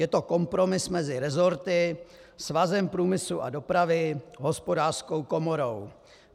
Je to kompromis mezi resorty, Svazem průmyslu a dopravy, Hospodářskou komorou.